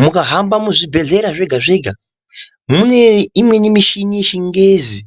Mukahamba muzvibhedhlera zvega zvega muneimweni michini yechingezi